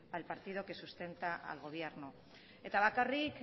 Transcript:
al partido que sustenta al gobierno eta bakarrik